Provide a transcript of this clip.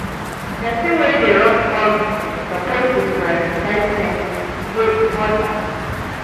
Pesin wey dey run small business suppose dey prioritize payments, e dey important.